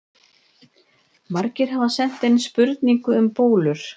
Margir hafa sent inn spurningu um bólur.